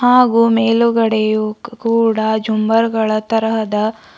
ಹಾಗು ಮೇಲುಗಡೆಯೂ ಕೂಡ ಜಂಬರ್ಗಾಳ ತರಹದ--